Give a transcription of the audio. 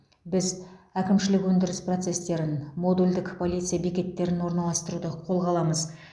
біз әкімшілік өндіріс процестерін модульдік полиция бекеттерін орналастыруды қолға аламыз